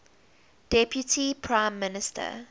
deputy prime minister